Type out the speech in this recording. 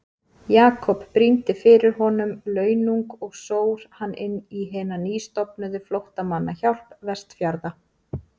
Jakob brýndi fyrir honum launung og sór hann inn í hina nýstofnuðu flóttamannahjálp Vestfjarða.